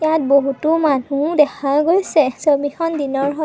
ইয়াত বহুতো মানু্হ দেখা গৈছে ছবিখন দিনৰ হয়।